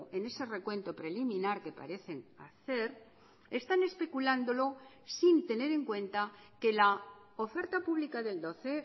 en ese recuento preliminar que parecen hacer están especulándolo sin tener en cuenta que la oferta pública del doce